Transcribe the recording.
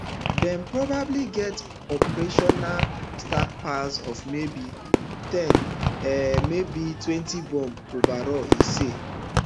dem probably get operational stockpile of maybe ten um maybe twenty bombs overall e say